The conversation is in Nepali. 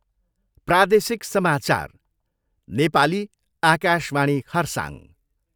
प्रादेशिक समाचार, नेपाली, आकाशवाणी खरसाङ।